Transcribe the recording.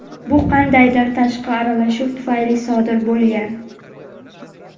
bu qandaydir tashqi aralashuv tufayli sodir bo‘lgan.